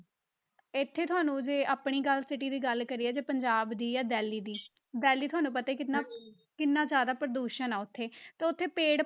ਇੱਥੇ ਤੁਹਾਨੂੰ ਜੇ ਆਪਣੀ ਗੱਲ city ਦੀ ਗੱਲ ਕਰੀਏ ਜੇ ਪੰਜਾਬ ਦੀ ਜਾਂ ਦਿੱਲੀ ਦੀ ਦਿੱਲੀ ਤੁਹਾਨੂੰ ਪਤਾ ਹੀ ਕਿੰਨਾ, ਕਿੰਨਾ ਜ਼ਿਆਦਾ ਪ੍ਰਦੂਸ਼ਣ ਆ ਉੱਥੇ, ਤਾਂ ਉੱਥੇ ਪੇੜ